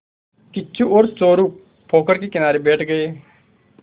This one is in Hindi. किच्चू और चोरु पोखर के किनारे बैठ गए